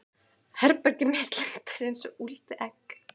Herbergið mitt lyktar einsog úldið egg.